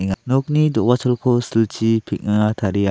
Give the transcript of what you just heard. ia nokni do·gacholko silchi peng·a taria.